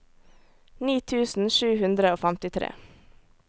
ni tusen sju hundre og femtitre